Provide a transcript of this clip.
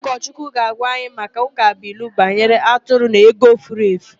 Ụkọchukwu ga-agwa anyị maka ụkabụilu banyere atụrụ na ego furu efu.